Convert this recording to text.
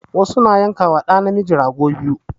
Wasu na yanka ma ɗa namiji rago biyu